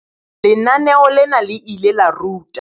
Lenaneo lena le ile la ruta.